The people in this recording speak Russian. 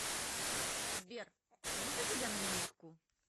сбер можно тебя на минутку